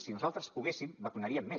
si nosaltres poguéssim vacunaríem més